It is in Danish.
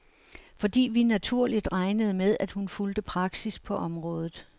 Fordi vi naturligt regnede med, at hun fulgte praksis på området.